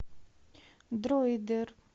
дройдер